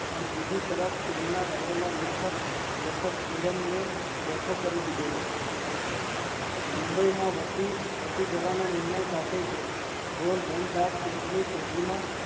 પણ બીજી તરફ તેમના રહેલા લેખક જીવન ને બેઠો કરી દીધેલો, મુંબઈ માં વસી જવાના નિર્ણય કે ગોરધન દાસ ની પેઢી માં